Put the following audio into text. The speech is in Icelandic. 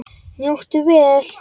Njóttu vel.